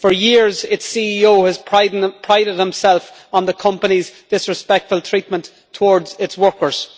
For years, its CEO has prided himself on the company's disrespectful treatment towards its workers.